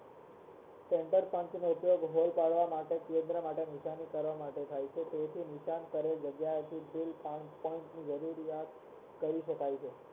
center point નો ઉપયોગ hole પાડવા માટે કેન્દ્ર ની નિશાની ખાવા માટે થાય છે તેથી નિશાળ કરેલ જગ્યા થઇ કાર્ટ શકાય છે